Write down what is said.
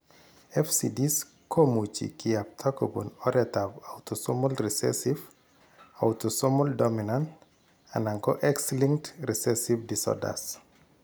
FCDs komuchi kiyapta kobun oretab autosomal recessive , autosomal dominant , anan ko X linked recessive disorders.